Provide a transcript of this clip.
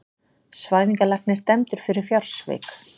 Svæfingarlæknir dæmdur fyrir fjársvik